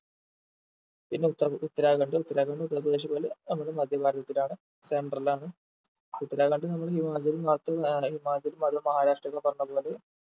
പിന്നെ ഉത്തർ ഉത്തരാഖണ്ഡ് ഉത്തരാഖണ്ഡ് ഉത്തർപ്രദേശ് പോലെ നമ്മുടെ മധ്യ ഭാരതത്തിലാണ് center ലാണ് ഉത്തരാഖണ്ഡ് നമ്മള് ഹിമാചലും ഹിമാചലും ആഹ് അതും മഹാരാഷ്ട്രയൊക്കെ പറഞ്ഞ പോലെ